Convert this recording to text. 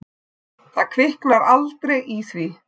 Það kviknar aldrei í því.